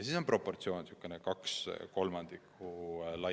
Siis on nende proportsioon laias laastus kaks kolmandikku.